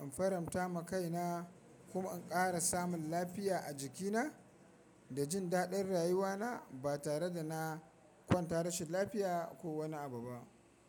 in faranta ma kaina kuma in ƙara samun lafiya a jikina da jin daɗin rayuwana ba tare da na kwanta rashin lafiya ko wani abu ba.